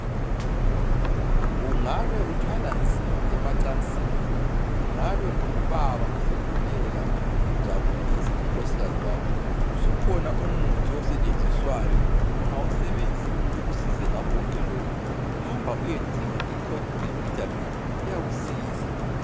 Ungabe uthwala nzima emacansini. Ungabe ungubaba usehluleka ukujabulisa unkosikazi wakho. Usukhona umuthi osetshenziswayo ongawusebenzisa ukuthi ukusize ngakho konke lokhu. Hamba uyesinga ikopivitamin uyakusiza.